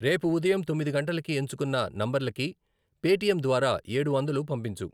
రేపు ఉదయం తొమ్మిది గంటలకి ఎంచుకున్న నంబర్లకి పేటిఎమ్ ద్వారా ఏడు వందలు పంపించు.